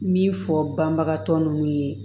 Min fɔ banbagatɔ ninnu ye